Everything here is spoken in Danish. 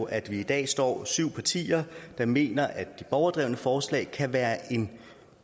at vi i dag står syv partier der mener at borgerdrevne forslag kan være en